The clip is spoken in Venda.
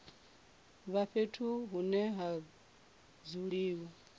vha fhethu hune ha dzuliwa